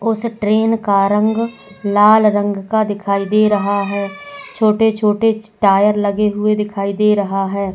उस ट्रेन का रंग लाल रंग का दिखाई दे रहा है छोटे-छोटे टायर लगे हुए दिखाई दे रहा है।